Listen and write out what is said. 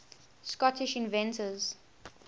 scottish inventors